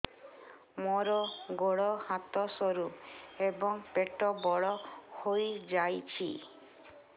ମୋର ଗୋଡ ହାତ ସରୁ ଏବଂ ପେଟ ବଡ଼ ହୋଇଯାଇଛି